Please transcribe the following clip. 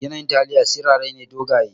Yanayin taliya sirara ne dogaye.